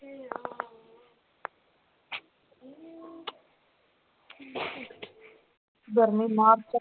ਗਰਮੀ ਨਾਲ ਤਾਂ